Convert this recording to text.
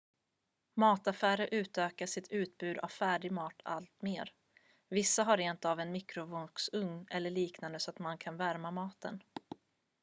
mataffärer utökar sitt utbud av färdigmat allt mer vissa har rentav en mikrovågsugn eller något liknande så att man kan värma maten